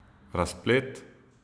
Razplet?